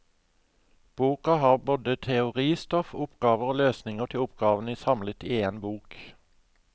Boka har både teoristoff, oppgaver og løsninger til oppgavene samlet i en bok.